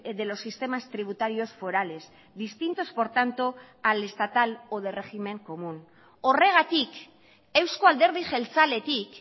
de los sistemas tributarios forales distintos por tanto al estatal o de régimen común horregatik euzko alderdi jeltzaletik